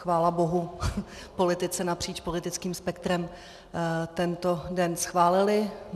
Chvála bohu, politici napříč politickým spektrem tento den schválili.